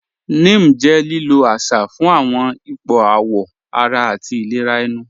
Ním jẹ́ lílò àṣà fún awọn ìpọ̀ àwọ̀ ara àti ìlẹ̀rà ènù.